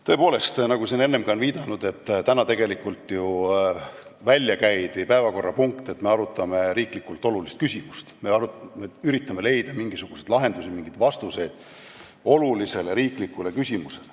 Tõepoolest, nagu siin ka enne on viidatud, tegelikult oli ju välja käidud, et täna me arutame riiklikult olulist küsimust, me üritame leida mingisuguseid lahendusi, mingeid vastuseid olulisele riiklikule küsimusele.